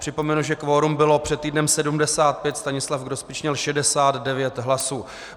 Připomenu, že kvorum bylo před týdnem 75, Stanislav Grospič měl 69 hlasů.